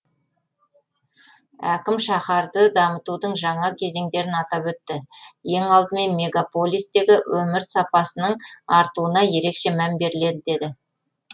әкім шаһарды дамытудың жаңа кезеңдерін атап өтті ең алдымен мегаполистегі өмір сапасының артуына ерекше мән беріледі деді